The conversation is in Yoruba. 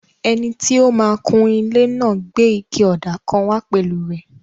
Ẹni tó máa n kun ilé náà gbé ike ọ̀dà kan wá pẹ̀lú rẹ̀